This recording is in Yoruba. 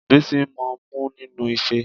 Bísí ń mo mu nínúu ife